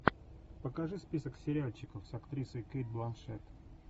покажи список сериальчиков с актрисой кейт бланшетт